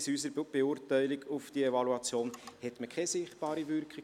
Wir kommen zur Abstimmung über diese Motion, wenn die Motionärin nicht noch das Wort wünscht.